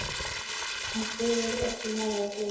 Hún sýgur upp í nefið og hikar.